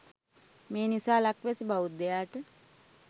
මේ නිසා ලක්වැසි බෞද්ධයාට